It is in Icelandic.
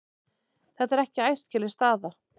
Þetta er ekki æskileg staða.